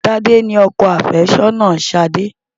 Tádé ni ọkọ àfẹ́sọ́nà Ṣadé.